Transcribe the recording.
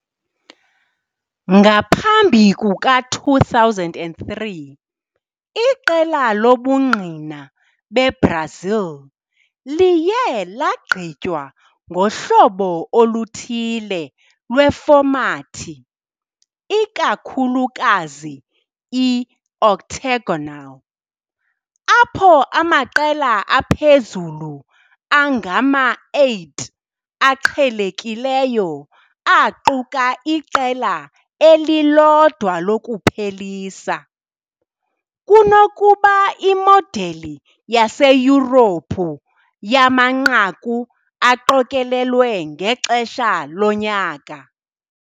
Ngaphambi kuka-2003, iqela lobungqina beBrazil liye lagqitywa ngohlobo oluthile lwefomathi, ikakhulukazi "i-Octagonal", apho amaqela aphezulu angama-8 aqhelekileyo aquka iqela elilodwa lokuphelisa, kunokuba imodeli yaseYurophu yamanqaku aqokelelwe ngexesha lonyaka .